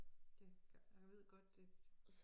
Det jeg ved godt det